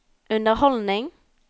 underholdning